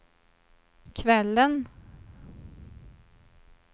kvällen